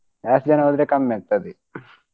ಜಾಸ್ತಿ ಜನಾ ಹೋದ್ರೆ ಕಮ್ಮಿಆಗ್ತದೆ.